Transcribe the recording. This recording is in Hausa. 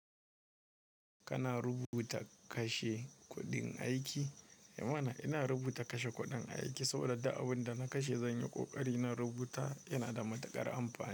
Kana rubuta kashe kuɗin aiki? Eh mana ina rubuta kashe kuɗin aiki saboda abin da na kashe zan yi ƙoƙari na rubuta yana da matuƙar amfani.